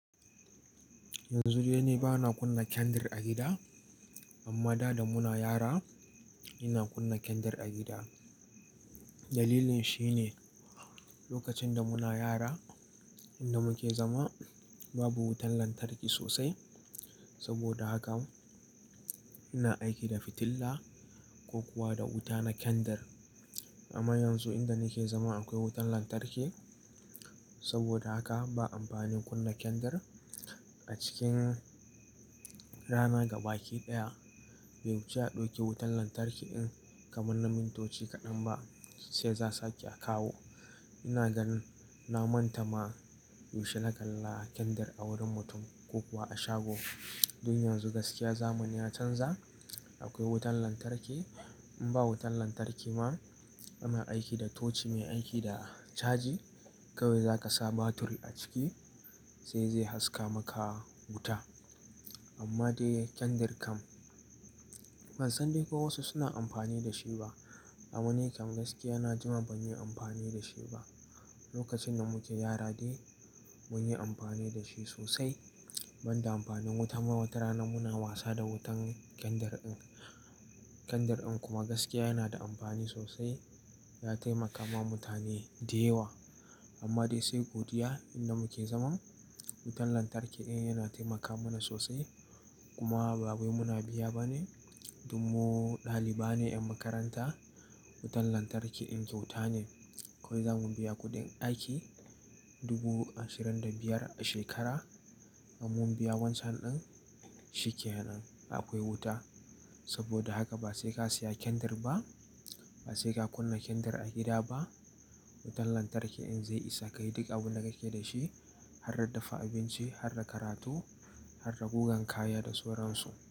Yanzu dai ni ba na kunna kendar a gida, amma da da muna yara ina kunna kendar a gida. Dalilin shi ne lokacin da muna yara, inda muke zama babu wutan lantarki sosai. Saboda haka ina aiki da fitilla ko kuwa da wuta na kendar. Amma yanzu inda nake zama akwai wutan lantarki, saboda haka ba amfanin kunna kendar. A cikin rana gaba ki ɗaya, bai wuce a ɗauke wutan lantarki in kamar na mintoci kaɗan ba sai za a sake a kawo. Ina ga nin na manta ma yaushe na kalla kendir a wurin mutum ko kuwa a shago. Dun yanzu gaskiya zamani ya canza, akwai wutan lantarki. In ba wutan lantarki ma ana aiki da toci mai aiki da caji. Kawai zaka sa batiri a ciki sai zai haska maka wuta. Amma dai kendir kam ban san dai ko wasu suna amfani da shi ba. Amma ni kam gaskiya na jima ban yi amfani da shi ba. Lokacin da muke yara dai mun yi amfani da shi sosai. Ban da amfanin wuta ma wata rana muna wasa da wutan kendir in. Kendir in kuma gaskiya yana da amfani sosai. Ya taimaka ma mutane da yawa. Amma dai sai godiya inda muke zaman, wutan lantarki ɗaya yana taimaka mana sosai. Kuma ba wai muna biya ba ne. Domin mu ɗalibai ne ƴan makaranta. Wutan lantarki ɗin kyauta ne. Kawai za mu biya kuɗin aiki dubu ashirin da biyar a shekara, in mun biya wan can ɗin, shi ke nan akwai wuta. Saboda haka ba sai ka siya kendir ba, ba sai ka kunna kendir a gida ba. Wutan lantarki ɗin zai isa ka yi duka abin da ka ke da shi, har da dafa abinci, har da karatu, har da gugan kaya da suransu.